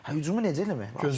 Hə hücumu necə eləmək lazımdır?